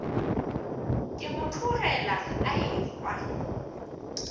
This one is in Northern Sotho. ke mo tlogela a ehwa